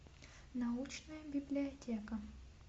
научная библиотека